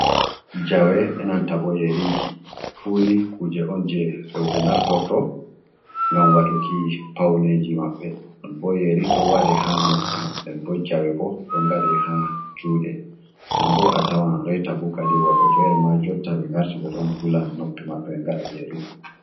Jawe enanta bo yeriji. Fu ni kuje on je rewɓe naftorto ngam waɗuki pauneji maɓɓe. onbo yeri ɗo waɗai ha noppi. Nɗen bo jawe bo ɗo gaɗe ha juɗe. nɗen bo a tawan raita fu kaɗi worɓe fere ma jotta ɓe ngarti be ɗon jula noppi maɓɓe ɓe ngaɗa yeri.